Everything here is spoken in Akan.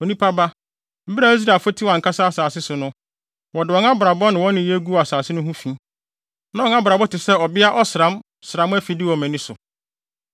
“Onipa ba, bere a Israelfo te wɔn ankasa asase so no, wɔde wɔn abrabɔ ne wɔn nneyɛe guu asase no ho fi. Na wɔn abrabɔ te sɛ ɔbea ɔsram-sram afide wɔ mʼani so.